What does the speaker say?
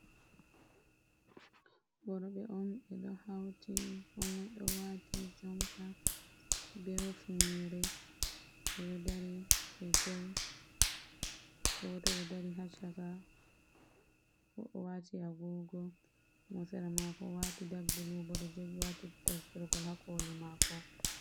Worɓe om ɓeɗo hauti komoi ɗo wati jompa be hufnere ɓɗeo dari be joi. Goto ɗo dari hachaka wati agogo, mosera mako wati dag bulubo ɗo joi wati tasbergol hakoli mako.